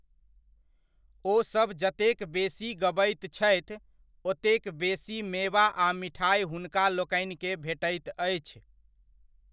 ओ सब जतेक बेसी गबैत छथि, ओतेक बेसी मेवा आ मिठाइ हुनका लोकनिकेँ भेटैत अछि।